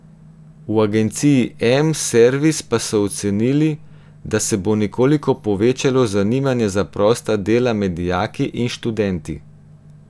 V agenciji M servis pa so ocenili, da se bo nekoliko povečalo zanimanje za prosta dela med dijaki in študenti.